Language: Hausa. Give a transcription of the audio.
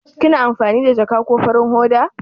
Kina amfani da ja ko farin hoda?